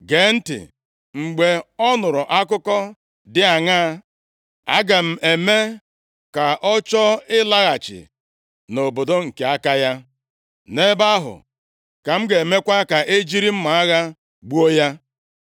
Gee ntị, mgbe ọ nụrụ akụkọ dị aṅaa, aga m eme ka ọ chọọ ịlaghachi nʼobodo nke aka ya. Nʼebe ahụ ka m ga-emekwa ka e jiri mma agha gbuo ya.’ ”